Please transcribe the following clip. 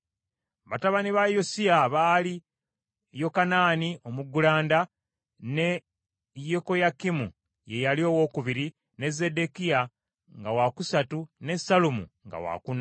Batabani ba Yosiya baali Yokanaani omuggulanda, ne Yekoyakimu ye yali owookubiri, ne Zeddekiya nga wa wakusatu, ne Sallumu nga wakuna.